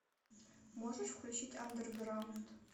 можешь включить андерграунд